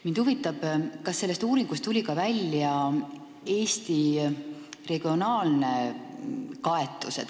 Mind huvitab, kas sellest uuringust tuli välja ka Eesti regionaalne kaetus.